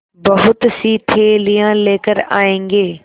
बहुतसी थैलियाँ लेकर आएँगे